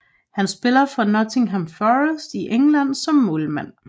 Han spiller for Nottingham Forest i England som målmand